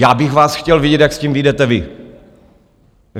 Já bych vás chtěl vidět, jak s tím vyjdete vy.